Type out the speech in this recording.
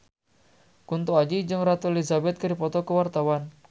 Kunto Aji jeung Ratu Elizabeth keur dipoto ku wartawan